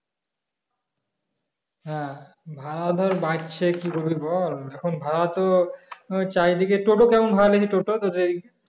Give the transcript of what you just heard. হ্যাঁ ভাড়া তো বাড়ছে কি করবি বল এখন ভাড়া তো চারিদিকে টোটো কেমন ভাড়া নেয় টোটো তদের এইদিকে?